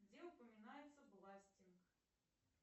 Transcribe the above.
где упоминаются власти